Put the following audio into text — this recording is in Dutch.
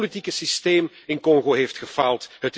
Het politieke systeem in Congo heeft gefaald.